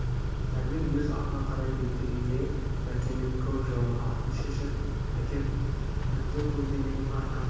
дәрмен өз атына қарай беттегенде мәкеннің көк жорға атын шешіп әкеп әбді көлденең тартты